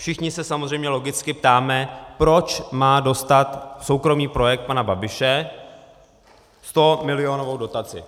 Všichni se samozřejmě logicky ptáme, proč má dostat soukromý projekt pana Babiše 100milionovou dotaci.